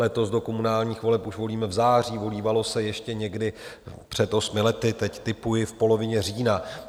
Letos do komunálních voleb už volíme v září, volívalo se ještě někdy před osmi lety, teď tipuji, v polovině října.